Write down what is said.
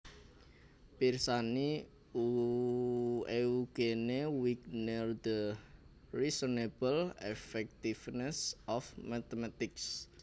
Pirsani Eugene Wigner The Unreasonable Effectiveness of Mathematics